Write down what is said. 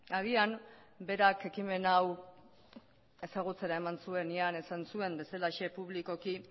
agian berak ekimen hau ezagutzera eman zuenean esan zuen bezalaxe publikoki